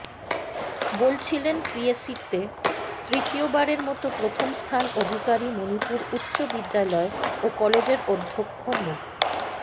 বলছিলেন পিএসসিতে তৃতীয়বারের মতো প্রথম স্থান অধিকারী মনিপুর উচ্চ বিদ্যালয় ও কলেজের অধ্যক্ষ মো